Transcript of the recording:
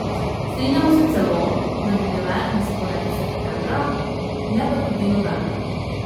Strinjamo se celo, da bi bile na sporedu septembra, ne pa tudi novembra.